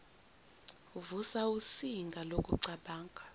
uvusa usinga lokucabanga